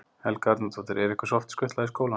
Helga Arnardóttir: Er ykkur oft skutlað í skólann?